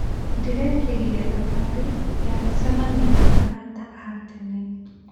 Ndĩrekire thabarĩ ya gũcemania na arata a tene.